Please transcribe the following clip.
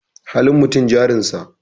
Halin mutum jarin sa.